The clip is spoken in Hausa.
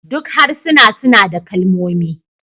Duk harsuna suna da kalmomi